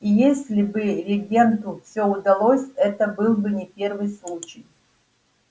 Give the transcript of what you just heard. и если бы регенту всё удалось это был бы не первый случай